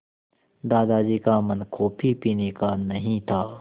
दादाजी का मन कॉफ़ी पीने का नहीं था